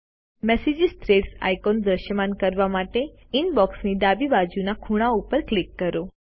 message threads icon દ્રશ્યમાન કરવા માટે ઇનબોક્ષની ડાબી બાજુના ખૂણા પર ક્લિક કરો